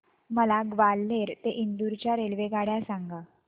मला ग्वाल्हेर ते इंदूर च्या रेल्वेगाड्या सांगा